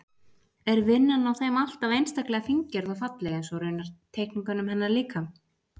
Er vinnan á þeim alltaf einstaklega fíngerð og falleg, eins og raunar teikningunum hennar líka.